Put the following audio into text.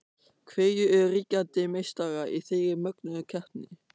Hverjir eru ríkjandi meistarar í þeirri mögnuðu keppni?